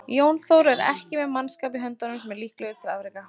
Jón Þór er ekki með mannskap í höndunum sem er líklegur til afreka.